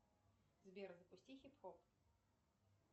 сбер запусти хип хоп